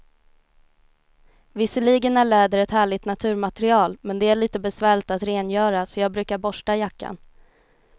Visserligen är läder ett härligt naturmaterial, men det är lite besvärligt att rengöra, så jag brukar borsta jackan.